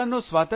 मित्रांनो